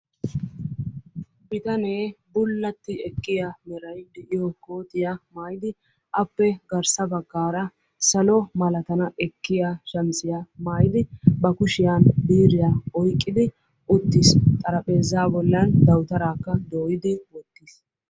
Bitanee bullati ekkiya meray de"iyo kootiya maayidi appe garsa baggaara salo malatana ekkiya shamiziya maayidi ba kushiyan biiriya oyiqqidi uttis. Xarapheeza bollan dawutaraaka dooyi wottis.